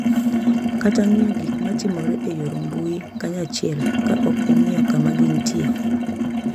Kata ng’iyo gik ma timore e yor mbui kanyachiel, ka ok ing’iyo kama gintie.